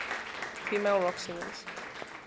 female rock singers